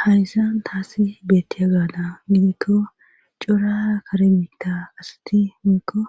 hayssan taasi beettiyabaadan gidikko cora kare biitta asati woykko